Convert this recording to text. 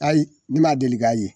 Ayi ne ma deli k'a ye.